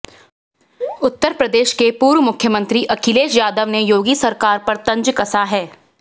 उत्तर प्रदेश के पूर्व मुख्यमंत्री अखिलेश यादव ने योगी सरकार पर तंज कसा है